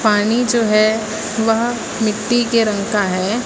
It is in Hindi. पानी जो है वह मिट्टी के रंग का है।